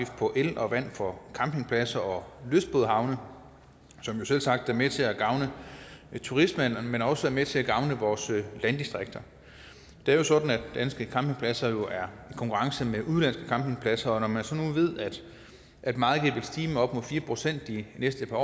på el og vand for campingpladser og lystbådehavne som jo selvsagt er med til at gavne turismen men også er med til at gavne vores landdistrikter det er jo sådan at danske campingpladser er i konkurrence med udenlandske campingpladser og når man så ved at meget vil stige med op mod fire procent de næste par